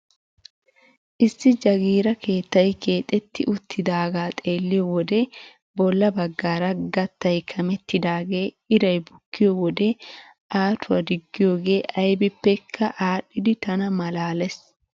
Issi jaagira keettay keexetti uttidagaa xeelliyoo wode bolla baggaara gattay kamettidagee iray bukkiyoo wode aatuwaa diggiyooge aybippekka adhdhiidi tana malaales!